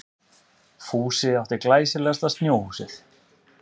Fúsi átti glæsilegasta snjóhúsið.